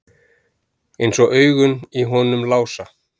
Eins og augun í honum Lása.